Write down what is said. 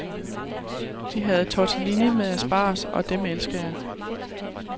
De havde tortellini med asparges, og dem elsker jeg.